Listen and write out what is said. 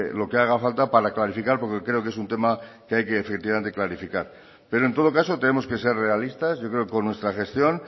lo que haga falta para clarificar porque creo que es un tema que hay que definitivamente clarificar pero en todo caso tenemos que ser realistas yo creo que con nuestra gestión